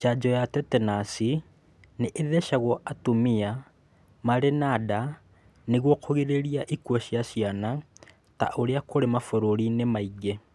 Njanjo ya tetenas nĩ-ĩthecagwo atumia marĩ na nda nĩguo kũrigĩrĩria ikuũ cia ciana ta ũrĩa kũrĩ mabũrũri inĩ maingi